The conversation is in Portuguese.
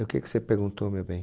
E o que que você perguntou, meu bem?